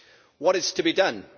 What is to be done?